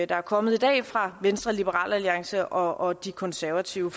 der er kommet i dag fra venstre liberal alliance og de konservative